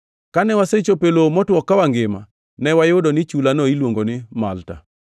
Kane wasechopo e lowo motwo ka wangima, ne wayudo ni chulano iluongo ni Malta.